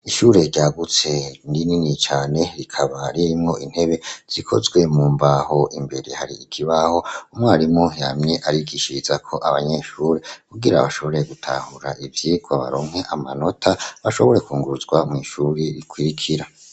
Ishuri ryagutse rinini cane rikaba rimwo intebe zikozwe mu mbaho. Imbere hari ikibaho umwarimu yamye arigishizako abanyeshure kugira abashobore gutahura ivyigwa baronke amanota, bashobore kwunguruzwa mw' ishuri rikwirikira.